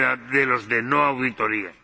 de los de no auditoría.